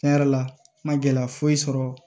Tiɲɛ yɛrɛ la n ma gɛlɛya foyi sɔrɔ